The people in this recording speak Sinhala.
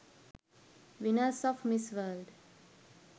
winners of miss world